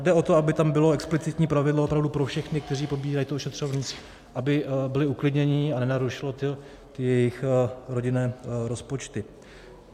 Jde o to, aby tam bylo explicitní pravidlo opravdu pro všechny, kteří pobírají to ošetřovné, aby byli uklidnění a nenarušilo to jejich rodinné rozpočty.